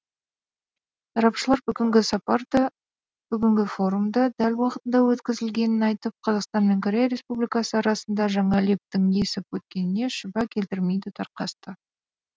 сарапшылар бүгінгі сапар да бүгінгі форум да дәл уақытында өткізілгенін айтып қазақстан мен корея республикасы арасында жаңа лептің есіп өткеніне шүбә келтірмейді тарқасты